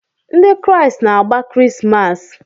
Ndị Kraịst na-agba Krismas.